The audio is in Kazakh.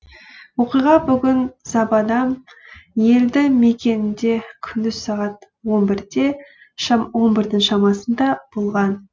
оқиға бүгін забадам елді мекенінде күндіз сағат он бірдің шамасында болған